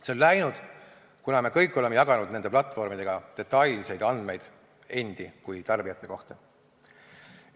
See on läinud, kuna me kõik oleme jaganud nende platvormidega detailseid andmeid endi kui tarbijate kohta.